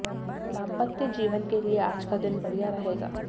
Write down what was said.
दाम्पत्य जीवन के लिए आज का दिन बढ़िया रहेगा